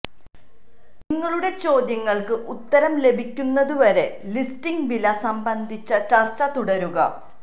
നിങ്ങളുടെ ചോദ്യങ്ങൾക്ക് ഉത്തരം ലഭിക്കുന്നതുവരെ ലിസ്റ്റിംഗ് വില സംബന്ധിച്ച ചർച്ച തുടരുക